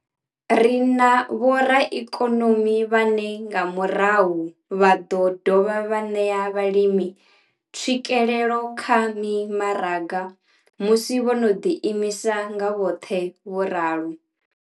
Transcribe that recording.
Ri na vhoraikonomi vhane nga murahu vha ḓo dovha vha ṋea vhalimi tswikelelo kha mimaraga musi vho no ḓi imisa nga vhoṱhe, vho ralo.